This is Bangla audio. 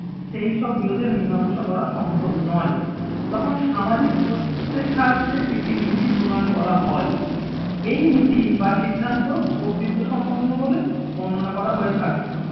সেইসব বিরোধের মীমাংসা করা সম্ভব নয়। তখন সামাজিক কর্তৃত্বের সাহায্যে একটি নীতি প্রণয়ন করা হয় এই নীতি বা সিদ্ধান্ত কর্তৃত্ব সম্পন্ন বলে বর্ণনা করা হয়ে থাকে।